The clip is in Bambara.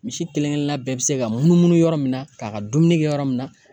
Misi kelen kelenna bɛɛ be se ka munumunu yɔrɔ min na k'a ka dumuni kɛ yɔrɔ min na